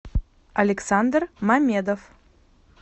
александр мамедов